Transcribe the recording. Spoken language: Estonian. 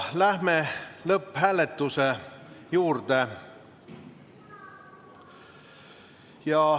Läheme lõpphääletuse juurde.